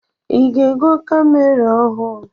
I ga-ego kamera ọhụụ?